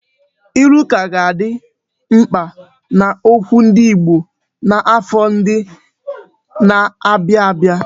Ilu ka ga-adị mkpa n'okwu ndị Igbo n'afọ ndị na-abịa abịa.